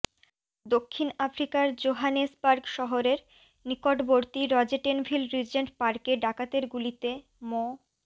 দক্ষিণ আফ্রিকার জোহানেসবার্গ শহরের নিকটবর্তী রজেটেনভিল রিজেন্ট পার্কে ডাকাতের গুলিতে মো